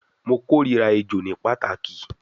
Mo korira ejo ni pataki